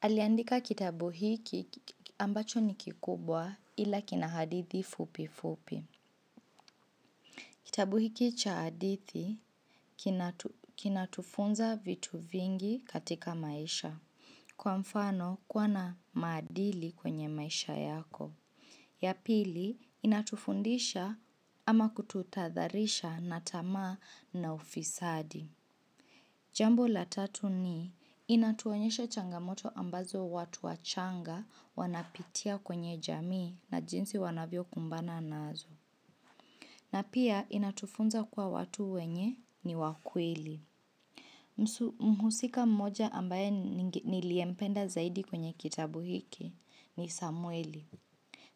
Aliandika kitabu hiki ambacho ni kikubwa ila kina hadithi fupi fupi. Kitabu hiki cha hadithi kinatufunza vitu vingi katika maisha. Kwa mfano, kuwa na maadili kwenye maisha yako. Ya pili, inatufundisha ama kututahadharisha na tamaa na ufisadi. Jambo la tatu ni, inatuonyesha changamoto ambazo watu wachanga wanapitia kwenye jamii na jinsi wanavyokumbana nazo. Na pia, inatufunza kwa watu wenye ni wa kweli. Mhusika mmoja ambaye niliyempenda zaidi kwenye kitabu hiki ni Samweli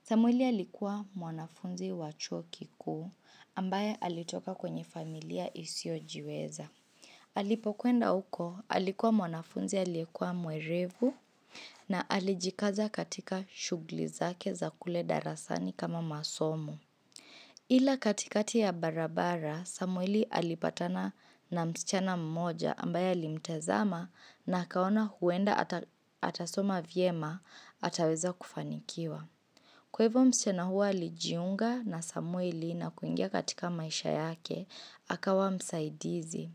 Samweli alikuwa mwanafunzi wa chuo kikuu ambaye alitoka kwenye familia isiyojiweza Alipokwenda huko alikuwa mwanafunzi aliyekuwa mwerevu na alijikaza katika shughuli zake za kule darasani kama masomo Ila katikati ya barabara, Samweli alipatana na msichana mmoja ambaye alimtazama na akaona huenda atasoma vyema ataweza kufanikiwa. Kwa hivo msichana huo alijiunga na Samweli na kuingia katika maisha yake, akawa msaidizi.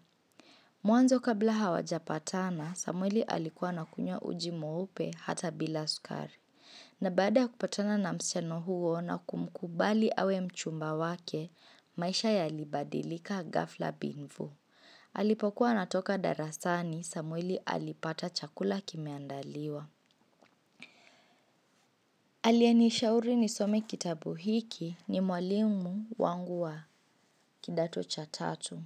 Mwanzo kabla hawajapatana, Samweli alikuwa anakunywa uji mweupe hata bila sukari. Na baada kupatana na msichana huo na kumkubali awe mchumba wake, maisha yalibadilika ghafla bin vuu. Alipokuwa anatoka darasani, samweli alipata chakula kimeandaliwa. Aliyenishauri nisome kitabu hiki ni mwalimu wangu wa kidato cha tatu.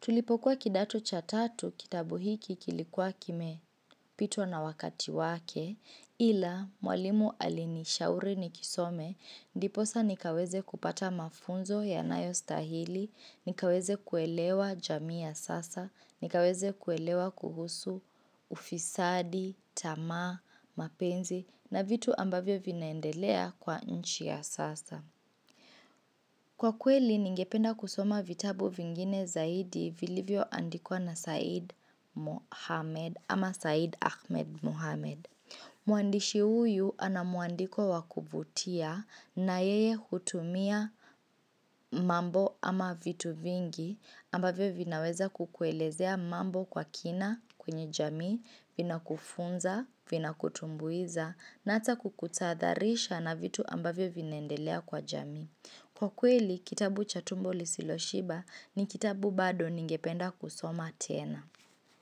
Tulipokuwa kidato cha tatu kitabu hiki kilikuwa kimepitwa na wakati wake ila mwalimu alinishauri nikisome ndiposa nikaweze kupata mafunzo yanayostahili, nikaweze kuelewa jamii ya sasa, nikaweze kuelewa kuhusu ufisadi, tamaa, mapenzi na vitu ambavyo vinaendelea kwa nchi ya sasa. Kwa kweli, ningependa kusoma vitabu vingine zaidi vilivyoandikwa na Said Ahmed Mohamed. Mwandishi huyu ana muandiko wa kuvutia na yeye hutumia mambo ama vitu vingi ambavyo vinaweza kukuelezea mambo kwa kina kwenye jamii vinakufunza, vinakutumbuiza na ata kukutahadharisha na vitu ambavyo vinaendelea kwa jamii. Kwa hivo msichana huo alijiunga na Samweli na kuingia katika maisha yake, akawa msaidizi.